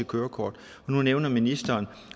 kørekort og nu nævner ministeren